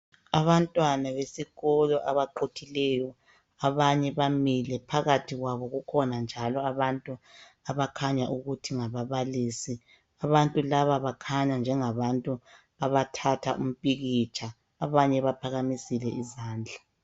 Abantwana besikolo abaquthileyo abanye bamile phakathi kwabo kukhona njalo abantu abakhanya ukuthi ngababalisi, abantu laba bakhanya njengabantu abathatha umpikitsha, abanye baphakamisile izandla.